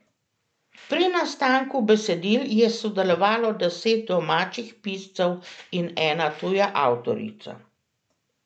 Pri nastanku besedil je sodelovalo deset domačih piscev in ena tuja avtorica.